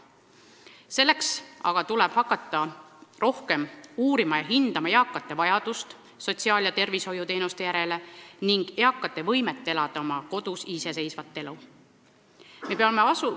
Selleks aga tuleb hakata rohkem uurima ja hindama eakate vajadust sotsiaal- ja tervishoiuteenuste järele ning eakate võimet elada oma kodus iseseisvat elu.